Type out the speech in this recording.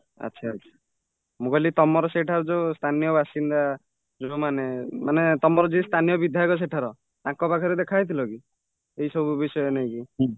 ଆଚ୍ଛା , ଆଚ୍ଛା ମୁଁକହିଲି ତମର ସେଇଟା ଯୋଉ ସ୍ଥାନୀୟ ବାସିନ୍ଦା ଯୋଉମାନେ ମାନେ ତମର ଯିଏ ସ୍ଥାନୀୟ ବିଧାୟକ ସେଠାର ତାଙ୍କ ପାଖରେ ଦେଖା ହେଇଥିଲକି ଏଇ ସବୁ ବିଷୟ ନେଇକି